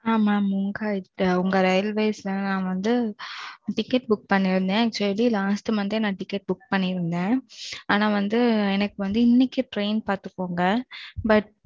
ஆ. mam உங்க. உங்க ரயில்வேஸ்ல நான் வந்து ticket book பண்ணி இருந்தேன். சேரி. last month யே நான் ticket book பண்ணி இருந்தேன். ஆனான் வந்து எனக்கு வந்து இன்னைக்கு train பாத்தகோங்க. But